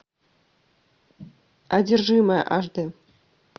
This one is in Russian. одержимая аш д